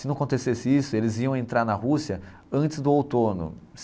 Se não acontecesse isso, eles iam entrar na Rússia antes do outono.